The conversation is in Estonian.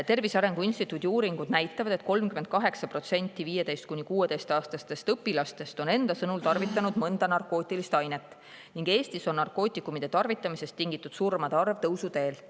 Tervise Arengu Instituudi uuringud näitavad, et 38% 15–16-aastastest õpilastest on enda sõnul tarvitanud mõnda narkootilist ainet ning Eestis on narkootikumide tarvitamisest tingitud surmade arv tõusuteel.